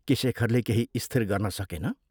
शेखरले केही स्थिर गर्न सकेन।